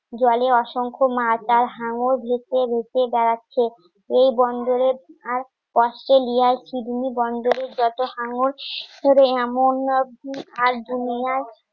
জলে অসংখ্য মা তার হাঙ্গর ভেসে ভেসে বেড়াচ্ছে এই বন্দরের আর অস্ট্রেলিয়া বন্দরের যত হাঙ্গর আর সকালবেলা খাবার দাবার আগে